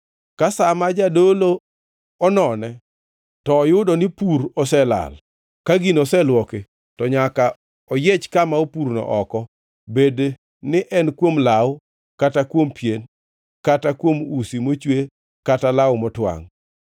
Ka sa ma jadolo onone, to oyudo ni pur oselal ka gino oselwoki, to nyaka oyiech kama opurno oko, bedni en kuom law, kata kuom pien, kata kuom usi mochwe kata law motwangʼ.